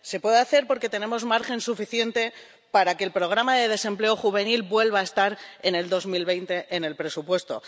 Se puede hacer porque tenemos margen suficiente para que el programa de desempleo juvenil vuelva a estar en 2020 en el presupuesto.